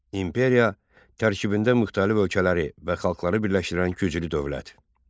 İmperiya tərkibində müxtəlif ölkələri və xalqları birləşdirən güclü dövlət.